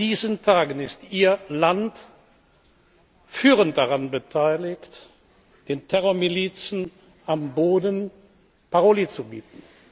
Und auch in diesen Tagen ist Ihr Land führend daran beteiligt, den Terrormilizen am Boden Paroli zu bieten.